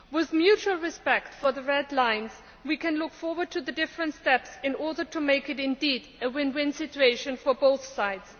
With mutual respect for the red lines, we can look forward to the different steps in order to make it a win win situation for both sides.